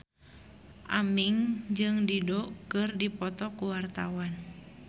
Aming jeung Dido keur dipoto ku wartawan